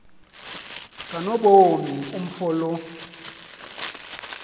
kanobomi umfo lo